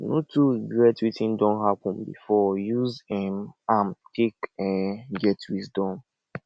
no too regret wetin don hapun bifor use um am take um get wisdom